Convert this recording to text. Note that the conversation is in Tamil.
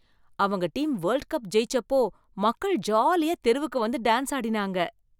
அவங்க டீம் வேல்ட் கப் ஜெயிச்சப்போ மக்கள் ஜாலியா தெருவுக்கு வந்து டான்ஸ் ஆடினாங்க